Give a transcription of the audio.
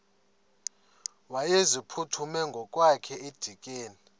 wayeziphuthume ngokwakhe edikeni